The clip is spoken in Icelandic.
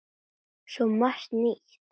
Svo margt nýtt.